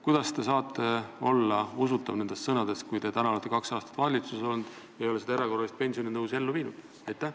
Kuidas saavad teie sõnad olla usutavad, kui te olete kaks aastat valitsuses olnud ja ei ole seda erakorralist pensionitõusu ellu viinud?